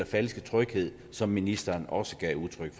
falsk tryghed som ministeren også gav udtryk